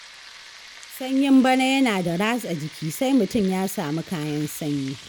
Sanyin bana yana da ratsa jiki, sai mutum ya samu kayan sanyi.